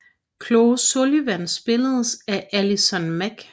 Chloe Sullivan spilles af Allison Mack